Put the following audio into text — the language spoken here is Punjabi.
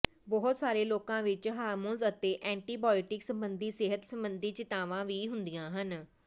ਬਹੁਤ ਸਾਰੇ ਲੋਕਾਂ ਵਿੱਚ ਹਾਰਮੋਨਸ ਅਤੇ ਐਂਟੀਬਾਇਟਿਕਸ ਸੰਬੰਧੀ ਸਿਹਤ ਸੰਬੰਧੀ ਚਿੰਤਾਵਾਂ ਵੀ ਹੁੰਦੀਆਂ ਹਨ